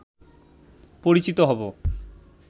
পরিচিত হবো